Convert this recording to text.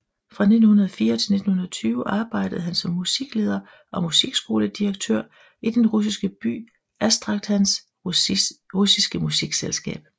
Fra 1904 til 1920 arbejdede han som musikleder og musikskoledirektør i den russiske by Astrakhans russiske musikselskab